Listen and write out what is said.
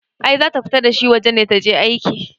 I zata fita dashi waje ne taje aika